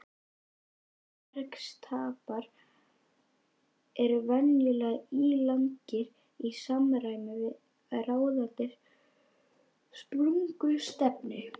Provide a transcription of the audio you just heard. Móbergsstapar eru venjulega ílangir í samræmi við ráðandi sprungustefnu.